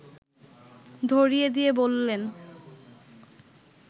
ধরিয়ে দিয়ে বললেন